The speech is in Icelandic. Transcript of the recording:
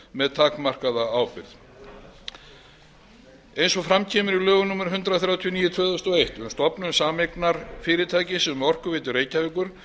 með takmarkaðri ábyrgð eins og fram kemur í lögum númer hundrað þrjátíu og níu tvö þúsund og eitt um stofnun sameignarfyrirtækis um orkuveitu reykjavíkur